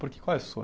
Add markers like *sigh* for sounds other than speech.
Porque qual é *unintelligible*